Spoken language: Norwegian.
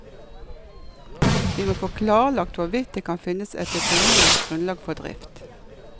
Vi må få klarlagt hvorvidt det kan finnes et økonomisk grunnlag for drift.